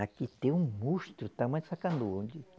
Aqui tem um monstro do tamanho dessa canoa.